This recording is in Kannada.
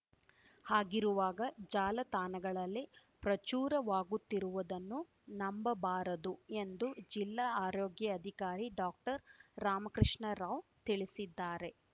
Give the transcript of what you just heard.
ಹಾಗಿರುವಾಗ ಜಾಲತಾಣಗಳಲ್ಲಿ ಪ್ರಚುರವಾಗುತ್ತಿರುವುದನ್ನು ನಂಬಬಾರದು ಎಂದು ಜಿಲ್ಲಾ ಆರೋಗ್ಯಾಧಿಕಾರಿ ಡಾಕ್ಟರ್ರಾಮಕೃಷ್ಣ ರಾವ್‌ ತಿಳಿಸಿದ್ದಾರೆ